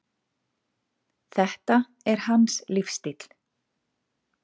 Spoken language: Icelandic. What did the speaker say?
Þetta er hans lífsstíll